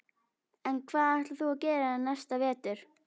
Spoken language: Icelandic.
En hvað ætlar þú að gera næsta vetur?